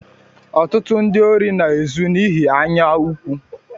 Ọtụtụ ndị órí na-ezu n'ihi anya ukwu.